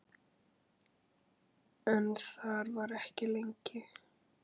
En þar var ekki lengi.